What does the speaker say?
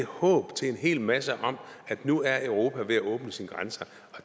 håb til en hel masse om at nu er europa ved at åbne sine grænser og